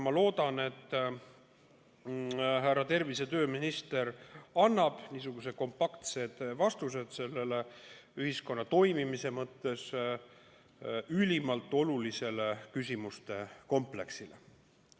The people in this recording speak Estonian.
Ma loodan, et härra tervise- ja tööminister annab kompaktsed vastused sellele ühiskonna toimimise mõttes ülimalt olulisele küsimuste kompleksile.